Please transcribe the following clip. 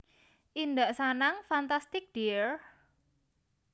Indak Sanang Fantastic dear